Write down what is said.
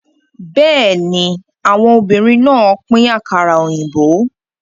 Bẹ́ẹ̀ni, àwọn obìnrin náà pín àkàrà òyìnbó.